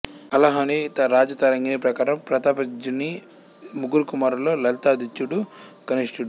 కల్హణుని Rajatarangini ప్రకారం ప్రతాపదిత్యుని ముగ్గురు కుమారులలో లలితాదిత్యుడు కనిష్టడు